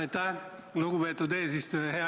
Aitäh, lugupeetud eesistuja!